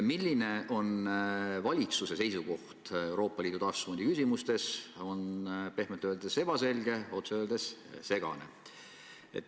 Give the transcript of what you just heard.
Milline on valitsuse seisukoht Euroopa Liidu taastusfondi küsimustes, on pehmelt öeldes ebaselge, otse öeldes segane.